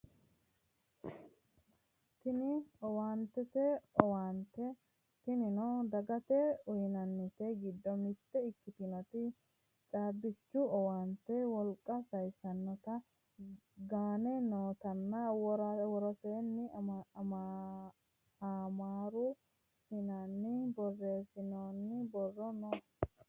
Tini owaantete owaante tinino dagate uyiinannite giddo mitte ikkitinoti caabbichu owaanteta wolqa sayiissannota gaane nootanna woroseenni amaaru afiinni borreessinoonni borro no